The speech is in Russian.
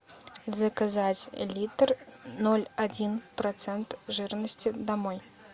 заказать литр ноль один процент жирности домой